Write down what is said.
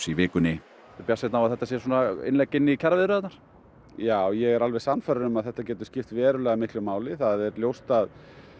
í vikunni ertu bjartsýnn á að þetta sé innlegg í kjaraviðræðurnar já ég er alveg sannfærður um að þetta geti skipt verulega miklu máli það er ljóst að